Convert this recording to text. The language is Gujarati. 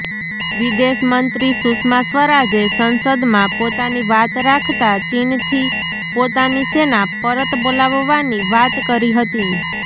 વિદેશમંત્રી સુષ્મા સ્વરાજે સંસદમાં પોતાની વાત રાખતા ચીનથી પોતાની સેના પરત બોલાવવાની વાત કરી હતી